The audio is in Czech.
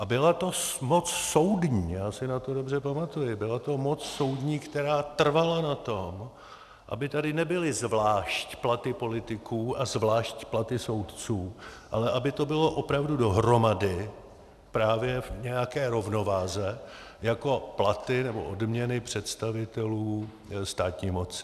A byla to moc soudní, já si na to dobře pamatuji, byla to moc soudní, která trvala na tom, aby tady nebyly zvlášť platy politiků a zvlášť platy soudců, ale aby to bylo opravdu dohromady právě v nějaké rovnováze jako platy nebo odměny představitelů státní moci.